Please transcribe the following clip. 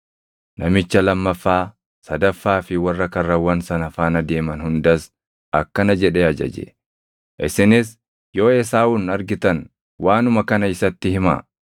Namicha lammaffaa, sadaffaa fi warra karrawwan sana faana deeman hundas akkana jedhee ajaje; “Isinis yoo Esaawun argitan waanuma kana isatti himaa.